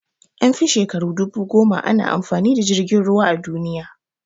An fi shekaru dubu goma ana amfani da jirgin ruwa a duniya